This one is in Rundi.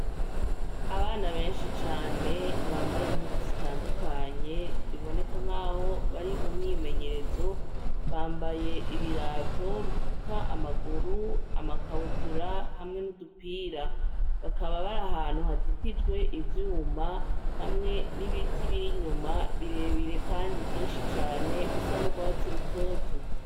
Abana benshi cane bambaye impuzu zitandukanye biboneka nkaho bari mumyimenyerezo, bambaye ibirato bifuka amaguru, amakabutura hamwe n'udupira. Bakaba bari ahantu hazitijwe ivyuma hamwe n'ibiti biri inyuma, birebire kandi vyinshi cane bisa n'urwatsi rutoto.